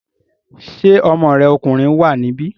Ṣé ọmọ rẹ̀ ọkùnrin wà níbí?